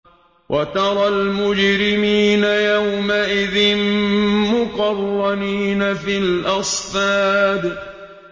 وَتَرَى الْمُجْرِمِينَ يَوْمَئِذٍ مُّقَرَّنِينَ فِي الْأَصْفَادِ